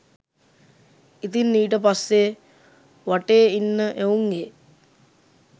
ඉතින් ඊට පස්සේ වටේ ඉන්න එවුන්ගේ